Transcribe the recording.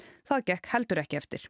það gekk heldur ekki eftir